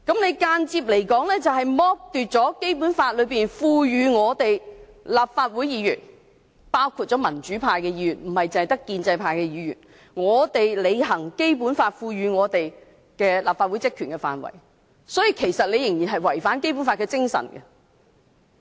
這間接剝奪了《基本法》賦予立法會議員——包括民主派議員，不單建制派議員——履行立法會職權的權力。因此，這違反了《基本法》的精神。